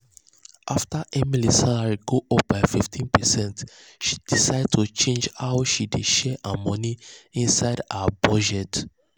after um emily salary go up by 15 percent she decide to change how she dey share her money inside her budget.